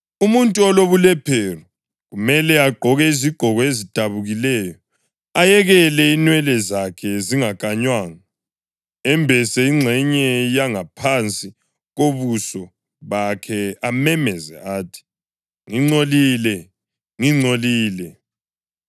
Umuntu olobulephero kumele agqoke izigqoko ezidabukileyo, ayekele inwele zakhe zingakanywanga, embese ingxenye yangaphansi kobuso bakhe amemeze athi: ‘Ngingcolile! Ngingcolile!’